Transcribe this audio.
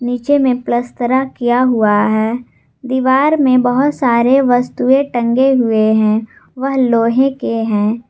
नीचे में पलस्तरा किया हुआ है दीवार में बहोत सारे वस्तुए टंगे हुए है वह लोहे के हैं।